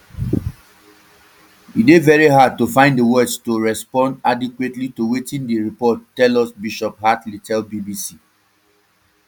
e dey very hard to find di words to respond adequately to wetin di report tell us bishop hartley tell bbc